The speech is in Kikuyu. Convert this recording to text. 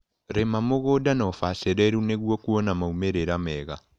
Rĩma mũgunda na ũbacĩrĩru nĩguo kuona maumĩrĩra mega.